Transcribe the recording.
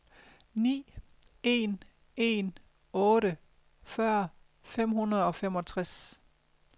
ni en en otte fyrre fem hundrede og femogtres